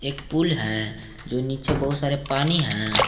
एक पूल है जो नीचे बहुत सारे पानी है।